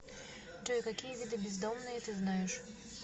джой какие виды бездомные ты знаешь